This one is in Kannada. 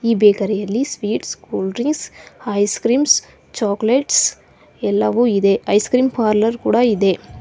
ಈ ಬೇಕರಿ ಯಲ್ಲಿ sweets cool drinks ice creams chocolates ಎಲ್ಲವೂ ಇದೆ ಐಸ್ ಕ್ರೀಮ್ ಪಾರ್ಲರ್ ಕೂಡ ಇದೆ.